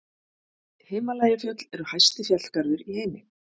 Himalajafjöll eru hæsti fjallgarður í heimi.